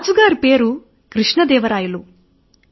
రాజు గారి పేరు కృష్ణ దేవరాయలు